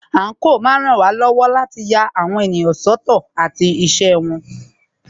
Àńkò máa ń ràn wá lọ́wọ́ láti lè ya àwọn ènìyàn sọ́tọ̀ àti iṣẹ́ wọn.